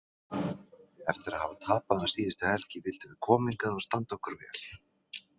Eftir að hafa tapað um síðustu helgi vildum við koma hingað og standa okkur vel